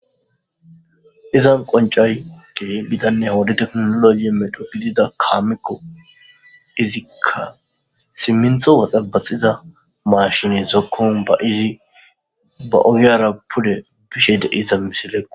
Izan qoncay ge gidanne hoodi teknoloye medho gidida kaamekko izikka simmintho waxabaxiza maashini zokkon ba iri ba ogiyara pule bishe deiza misilekko